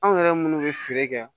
Anw yɛrɛ munnu bɛ feere kɛ